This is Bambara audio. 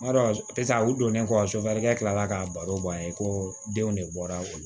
Madon piseke u donnen kɔ sofɛrikɛ tila la k'a baro bɔ an ye ko denw de bɔra